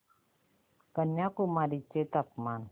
कन्याकुमारी चे तापमान